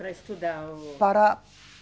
Para estudar o. Para